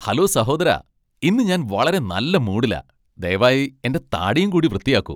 Hello സഹോദരാ. ഇന്ന് ഞാൻ വളരെ നല്ല മൂഡിലാ. ദയവായി എന്റെ താടിയും കൂടി വൃത്തിയാക്കു.